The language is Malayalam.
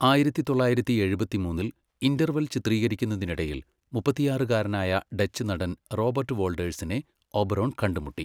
ആയിരത്തി തൊള്ളായിരത്തി എഴുപത്തിമൂന്നിൽ, ഇന്റർവെൽ ചിത്രീകരിക്കുന്നതിനിടയിൽ, മുപ്പത്തിയാറുകാരനായ ഡച്ച് നടൻ റോബർട്ട് വോൾഡേഴ്സിനെ ഒബറോൺ കണ്ടുമുട്ടി.